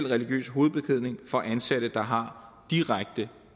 religiøs hovedbeklædning for ansatte der har direkte